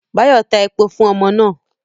Bayo ta epo fun omo naa